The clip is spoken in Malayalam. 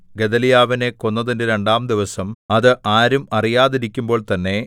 ഗെദല്യാവിനെ കൊന്നതിന്റെ രണ്ടാംദിവസം അത് ആരും അറിയാതിരിക്കുമ്പോൾ തന്നെ